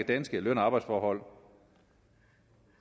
danske løn og arbejdsforhold